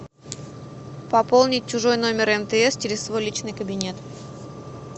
пополнить чужой номер мтс через свой личный кабинет